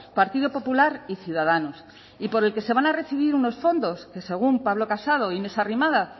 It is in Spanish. partido popular y ciudadanos y por el que se van a recibir unos fondos que según pablo casado e inés arrimadas